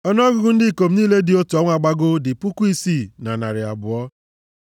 Ọnụọgụgụ ndị ikom niile dị otu ọnwa gbagoo dị puku isii na narị abụọ (6,200).